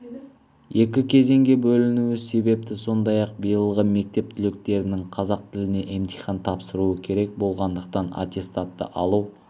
екі кезеңге бөлінуі себепті сондай-ақ биылғы мектеп түлектерінің қазақ тілінен емтихан тапсыруы керек болғандықтан аттестатты алу